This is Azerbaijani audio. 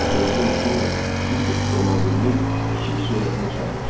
O sehrli maşınla yük avtomobilinin kiçik surətini çıxarmışdı.